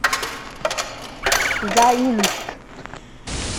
заинск